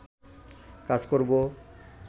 কাজ করব